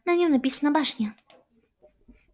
на нём написано башня